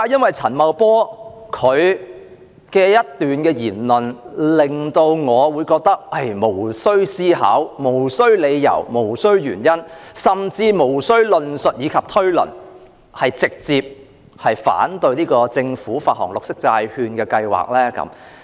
為何陳茂波的一番言論，會令我無須思考、無須理由、無須原因甚至無須論述及推論，便直接反對政府發行綠色債券的計劃呢？